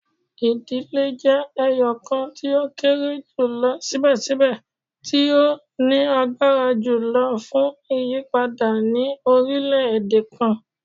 Idile jẹ ẹyọkan ti o kere julọ sibẹsibẹ ti o lagbara julọ fun iyipada ni orilẹ-ede kan